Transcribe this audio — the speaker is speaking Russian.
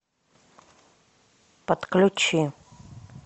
подключи